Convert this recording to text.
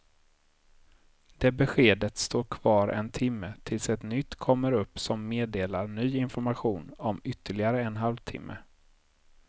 Det beskedet står kvar en timme tills ett nytt kommer upp som meddelar ny information om ytterligare en halv timme.